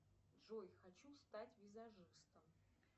джой хочу стать визажистом